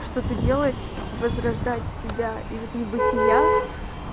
что-то делать возрождать себя из небытия